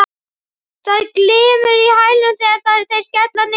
Það glymur í hælunum þegar þeir skella niður.